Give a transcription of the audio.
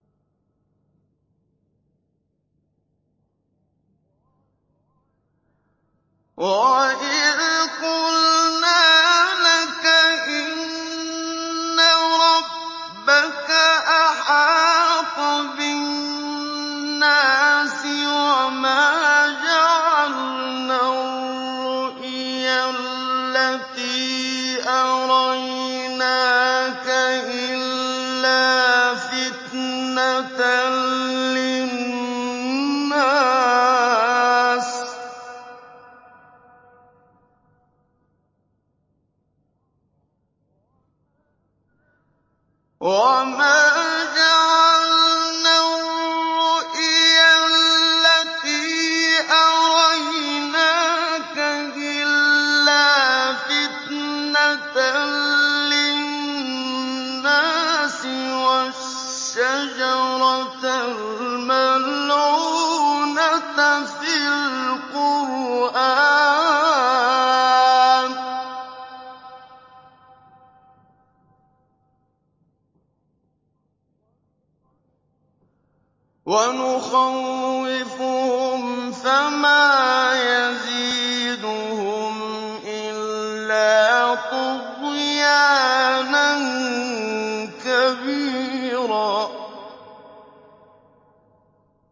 وَإِذْ قُلْنَا لَكَ إِنَّ رَبَّكَ أَحَاطَ بِالنَّاسِ ۚ وَمَا جَعَلْنَا الرُّؤْيَا الَّتِي أَرَيْنَاكَ إِلَّا فِتْنَةً لِّلنَّاسِ وَالشَّجَرَةَ الْمَلْعُونَةَ فِي الْقُرْآنِ ۚ وَنُخَوِّفُهُمْ فَمَا يَزِيدُهُمْ إِلَّا طُغْيَانًا كَبِيرًا